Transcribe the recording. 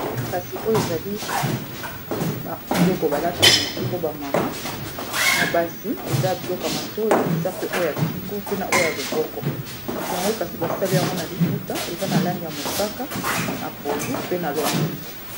kasi oyo ezali biloko balataka na kingo bamama na basi eza biloko ya matoi eza pe oyo ya kingo pe na oyo ya loboko yango kasi basali yango na liputa eza na langi ya mosaka na pondu pe na longondo